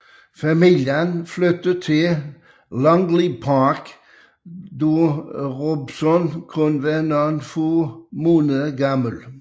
Familien flyttede til Langley Park da Robson kun var nogle måneder gammel